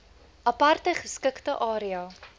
aparte geskikte area